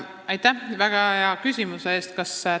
Aitäh väga hea küsimuse eest!